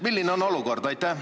Milline on olukord?